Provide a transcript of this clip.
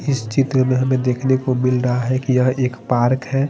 इस चित्र में हमे देखने को मिल रहा है की यहाँ एक पार्क है।